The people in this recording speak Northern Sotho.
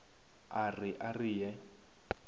a re a re ye